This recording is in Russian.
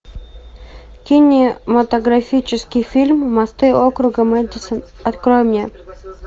кинематографический фильм мосты округа мэдисон открой мне